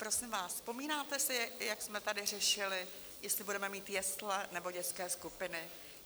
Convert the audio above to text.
Prosím vás, vzpomínáte si, jak jsme tady řešili, jestli budeme mít jesle, nebo dětské skupiny?